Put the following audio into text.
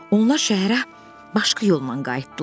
Onlar şəhərə başqa yolla qayıtdılar.